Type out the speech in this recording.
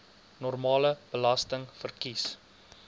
normale belasting verkies